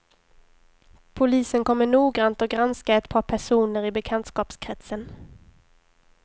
Polisen kommer noggrant att granska ett par personer i bekantskapskretsen.